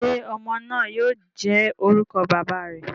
Ṣe ọmọ naa yoo jẹ orukọ baba rẹ?